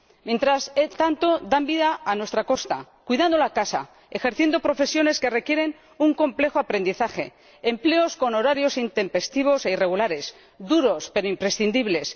Mientras tanto, dan vida a nuestra costa cuidando la casa, ejerciendo profesiones que requieren un complejo aprendizaje, empleos con horarios intempestivos e irregulares, duros pero imprescindibles.